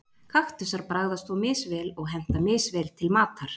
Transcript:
Kaktusar bragðast þó misvel og henta misvel til matar.